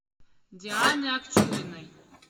дианы акчуриной